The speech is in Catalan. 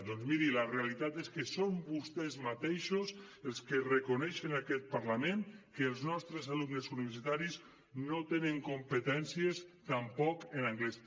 doncs miri la realitat és que són vostès mateixos els que reconeixen a aquest parlament que els nostres alumnes universitaris no tenen competències tampoc en anglès